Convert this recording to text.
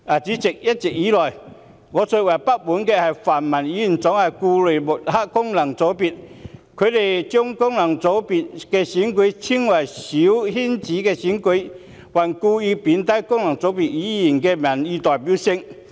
主席，一直以來，我最不滿泛民議員總是故意抹黑功能界別，將功能界別的選舉稱為"小圈子"選舉，還故意貶低功能界別議員的民意代表性。